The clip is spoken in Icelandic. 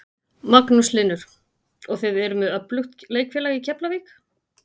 Magnús Hlynur: Og þið eruð með öflugt leikfélag í Keflavík?